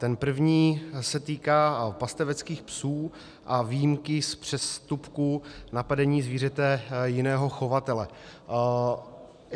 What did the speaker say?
Ten první se týká pasteveckých psů a výjimky z přestupků napadení zvířete jiného chovatele.